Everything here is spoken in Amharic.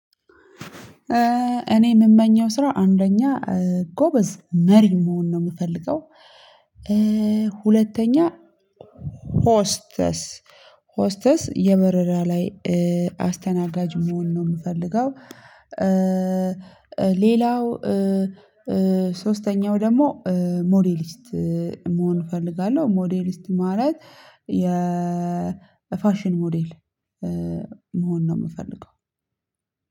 እኔ ምመኘው ስራ አንደኛ ጎበዝ መሪ መሆን ነው ምፈልገው። ሁለተኛ ሆስተስ ሆስተስ የበረራ ላይ አስተናጋጅ መሆን ነው ምፈልገው። ሌላው ሶስተኛው ደግሞ ሞዴሊስት መሆን እፈልጋለሁ። ሞዴሊስት ማለት ፋሽን ሞዴል መሆን ነው ምፈልገው።